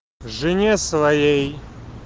жене своей